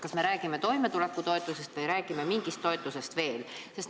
Kas me räägime toimetulekutoetusest või räägime mingist toetusest veel?